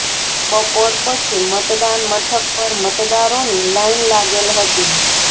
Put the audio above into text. બપોર પછી મતદાન મથક પર મતદારોની લાઇન લાગેલ હતી